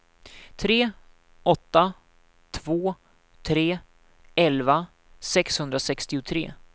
tre åtta två tre elva sexhundrasextiotre